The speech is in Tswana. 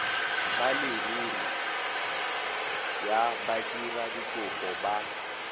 ba leruri ya badiradikopo ba